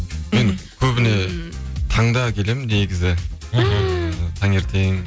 мен көбіне таңда келемін негізі таңертең